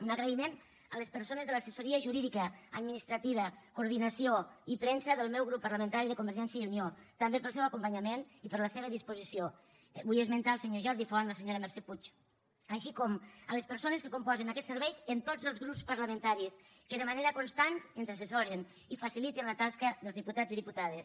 un agraïment a les persones de l’assessoria jurídica administrativa coordinació i premsa del meu grup parlamentari de convergència i unió també pel seu acompanyament i per la seva disposició vull esmentar el senyor jordi font la senyora mercè puig com també a les persones que componen aquest servei en tots els grups parlamentaris que de manera constant ens assessoren i faciliten la tasca dels diputats i diputades